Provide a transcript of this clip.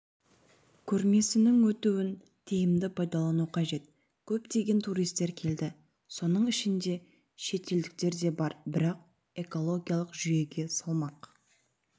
көрмесінің өтуін тиімді пайдалану қажет көптеген туристер келді соның ішінде шетелдіктерде бар бірақ экологиялық жүйеге салмақ